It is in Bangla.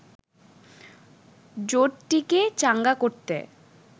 জোটটিকে চাঙ্গা করতে